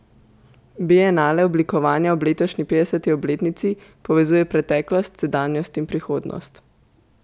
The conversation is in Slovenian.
Bienale oblikovanja ob letošnji petdeseti obletnici povezuje preteklost, sedanjost in prihodnost.